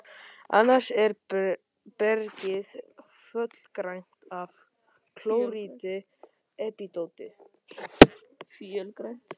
Annars er bergið fölgrænt af klóríti og epídóti.